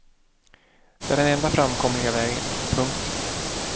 Det är den enda framkomliga vägen. punkt